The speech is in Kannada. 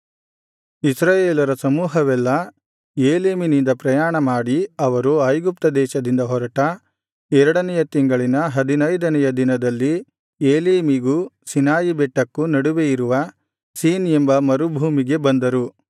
ಇಸ್ರಾಯೇಲರ ಸಮೂಹವೆಲ್ಲಾ ಏಲೀಮಿನಿಂದ ಪ್ರಯಾಣ ಮಾಡಿ ಅವರು ಐಗುಪ್ತ ದೇಶದಿಂದ ಹೊರಟ ಎರಡನೆಯ ತಿಂಗಳಿನ ಹದಿನೈದನೆಯ ದಿನದಲ್ಲಿ ಎಲೀಮಿಗೂ ಸೀನಾಯಿ ಬೆಟ್ಟಕ್ಕೂ ನಡುವೆಯಿರುವ ಸೀನ್ ಎಂಬ ಮರುಭೂಮಿಗೆ ಬಂದರು